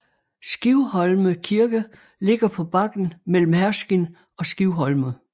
Skivholme Kirke ligger på bakken mellem Herskind og Skivholme